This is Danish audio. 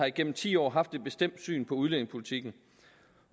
igennem ti år har haft et bestemt syn på udlændingepolitikken